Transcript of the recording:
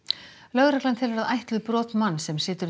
lögreglan telur að ætluð brot manns sem situr